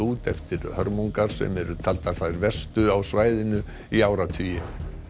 út eftir hörmungar sem eru taldar þær verstu á svæðinu í áratugi